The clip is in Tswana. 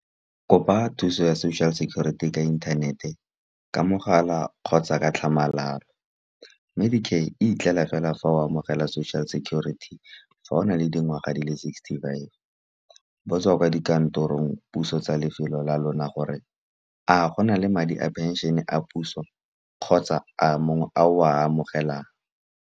Kopa thuso ya social security ka inthanete, ka mogala kgotsa ka tlhamalalo. Medicare e itlela fela fa o amogela social security fa o na le dingwaga le sixty-five. Botsa kwa dikantorong puso tsa lefelo la lona, gore a gona le madi a pension-e a puso, kgotsa a mongwe a o a amogelang.